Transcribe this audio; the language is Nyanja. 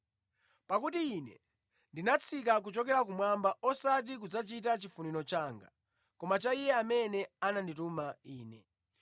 Pakuti Ine ndinatsika kuchokera kumwamba osati kudzachita chifuniro changa koma cha Iye amene anandituma Ine.